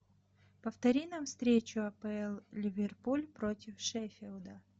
повтори нам встречу апл ливерпуль против шеффилда